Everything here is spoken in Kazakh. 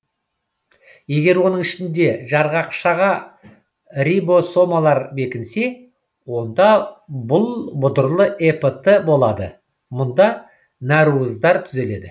егер оның ішінде жарғақшаға рибосомалар бекінсе онда бұл бұдырлы эпт болады мұнда нәруыздар түзіледі